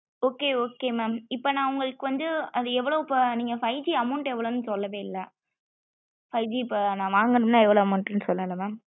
okay okay mam இப்போ னா உங்களுக்கு வந்து அது எவளோ நீங்க five G amount எவலோனு சொல்லவேஇல்ல five G இப்போ னா வாங்கனும்ன எவளோ amount னு சொல்லல mam